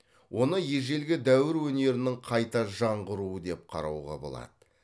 оны ежелгі дәуір өнерінің қайта жаңғыруы деп қарауға болады